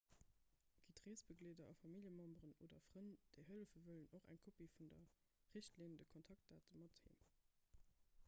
gitt reesbegleeder a familljememberen oder frënn déi hëllefe wëllen och eng kopie vun der richtlinn/de kontaktdate mat heem